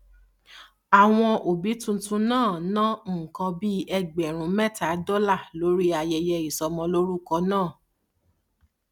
àwọn òbí tuntun náà ná nǹkan bí ẹgbèrún méta dólà lórí ayẹyẹ ìsọmọlórúkọ náà